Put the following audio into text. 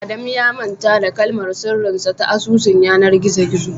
Adamu ya manta kalmar sirrin sa ta asusun yanar gizo gizo